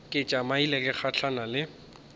ke tšamile ke gahlana le